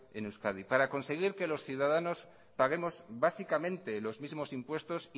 en euskadi para conseguir que los ciudadanos paguemos básicamente los mismos impuestos